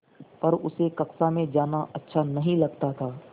पर उसे कक्षा में जाना अच्छा नहीं लगता था